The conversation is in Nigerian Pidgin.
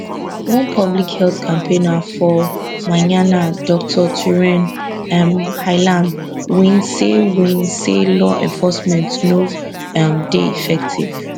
one public health campaigner for myanmar dr thurein um hlaing win say win say law enforcement no um dey effective